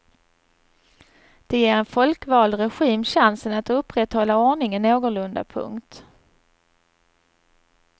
Det ger en folkvald regim chansen att upprätthålla ordningen någorlunda. punkt